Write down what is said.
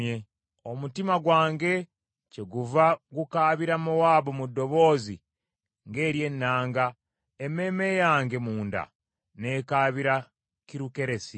Omutima gwange kyeguva gukaabira Mowaabu mu ddoboozi ng’ery’ennanga, emmeeme yange munda n’ekaabira Kirukeresi.